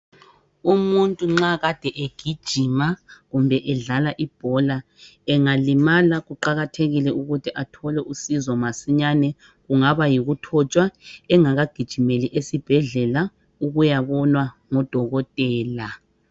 Umuntu nxa kade egijima kumbe edlala ibhola engalimala kuqakathekile ukuthi athole usizo masinyane kungaba yikuthotshwa engakagijimeli esibhedlela ukuyabonwa ngudokotela.